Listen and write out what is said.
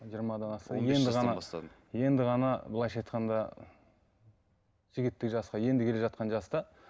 жиырмадан асты енді ғана былайынша айтқанда жігіттік жасқа енді келе жатқан жаста